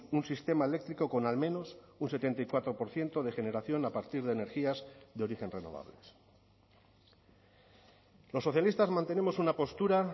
un sistema eléctrico con al menos un setenta y cuatro por ciento de generación a partir de energías de origen renovables los socialistas mantenemos una postura